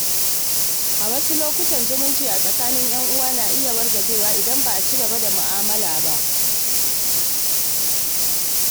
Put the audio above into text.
A wasu lokuta, zumunci a tsakanin ‘yan uwa na iya wargajewa idan ba a ci gaba da mu’amala ba.